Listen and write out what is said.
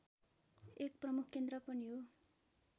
एक प्रमुख केन्द्र पनि हो